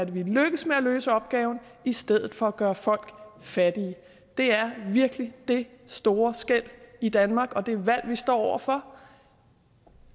vi lykkes med at løse opgaven i stedet for at gøre folk fattige det er virkelig det store skel i danmark og det valg vi står over for